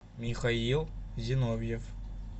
михаил зиновьев